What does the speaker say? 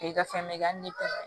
I ka fɛn bɛɛ bɛ